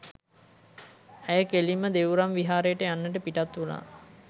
ඇය කෙළින්ම දෙව්රම් විහාරයට යන්නට පිටත් වුනා.